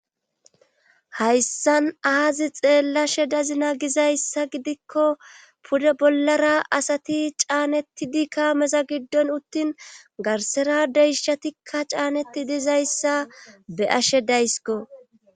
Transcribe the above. Hayssan aazi xeellashe dazina gizayssa gidikko pude bollara asati caanettidi kaameza giddon uttin garsera deyishatikka caaneti dizayssa be ashe daysiko.